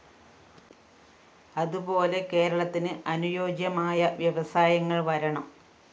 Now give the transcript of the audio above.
അതുപോെല കേരളത്തിന് അനുയോജ്യമായ വ്യവസായങ്ങള്‍ വരണം